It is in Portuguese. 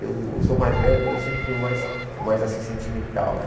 Eu sou o mais velho, mas eu sempre fui o mais o mais, assim, sentimental, né?